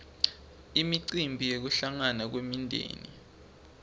imicimbi yekuhlangana kwemindzeni